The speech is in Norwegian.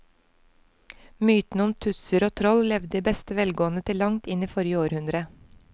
Mytene om tusser og troll levde i beste velgående til langt inn i forrige århundre.